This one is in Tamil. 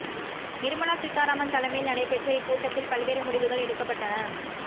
நிர்மலா சீதாராமன் தலைமையில் நடைபெற்ற இக்கூட்டத்தில் பல்வேறு முடிவுகள் எடுக்கப்பட்டன